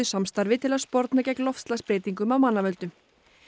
samstarfi til að sporna gegn loftslagsbreytingum af mannavöldum